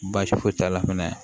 Baasi foyi t'a la fɛnɛ